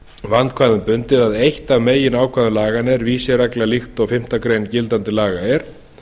vandkvæðum bundið að eitt af meginákvæðum laganna er vísiregla líkt og fimmtu grein gildandi laga er